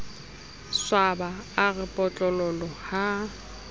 swaba a re potlololo ha